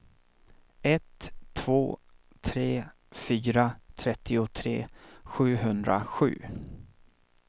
ett två tre fyra trettiotre sjuhundrasju